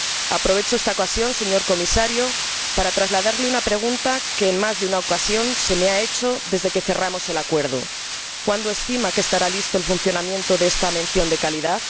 Aprovecho esta ocasión, señor Comisario, para trasladarle una pregunta que, en más de una ocasión, se me ha hecho desde que cerramos el acuerdo ¿cuándo estima que estará listo el funcionamiento de esta mención de calidad?